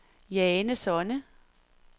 Jane Sonne